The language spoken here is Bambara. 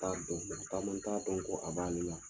t'a bɛɛ filɛ caman t'a dɔn k'a b'a le la